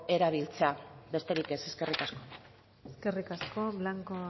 erabiltzea besterik ez eskerrik asko eskerrik asko blanco